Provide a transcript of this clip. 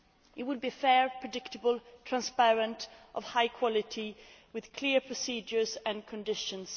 It will be fair, predictable, transparent and high quality, with clear procedures and conditions.